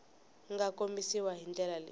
nga komisiwa hi ndlela leyi